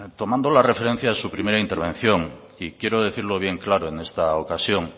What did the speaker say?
tomando la referencia de su primera intervención y quiero decirlo bien claro en esta ocasión